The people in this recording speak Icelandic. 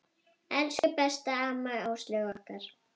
Elsku besta amma Áslaug okkar.